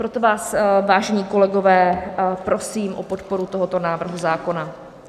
Proto vás, vážení kolegové, prosím o podporu tohoto návrhu zákona.